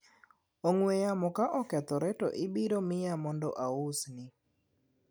ongwe yamo ka okethore to ibiro miya mondo ausni